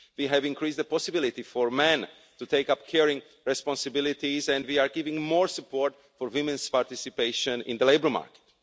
We have increased the possibility for men to take up caring responsibilities and we are giving more support to women's participation in the labour market.